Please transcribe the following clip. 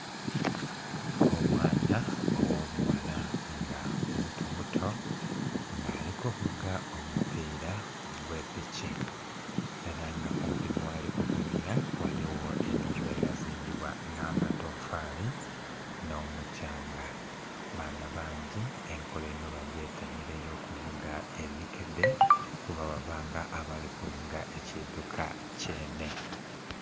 Omwana ogh'obughala nga mutomuto nga ali kuvuga omupiila ogw'epiki ela nga kumpi nhi ghali kuvugila ghaligho ennhumba eyazimbibwa nh'amatoofali, nh'omuthyanga. Baana bangi enkola enho bagyetanhila ey'okuvuga emikedhe, kuba babanga abali kuvuga ekidhuka kyenhe.